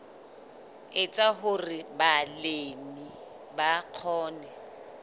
etsa hore balemi ba kgone